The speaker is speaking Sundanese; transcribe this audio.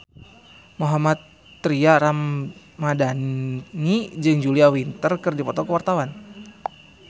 Mohammad Tria Ramadhani jeung Julia Winter keur dipoto ku wartawan